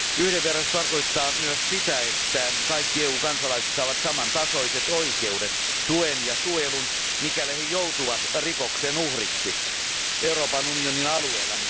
Yhdenvertaisuus tarkoittaa myös sitä, että kaikki EU kansalaiset saavat samantasoiset oikeudet, tuen ja suojelun, mikäli he joutuvat rikoksen uhriksi Euroopan unionin alueella.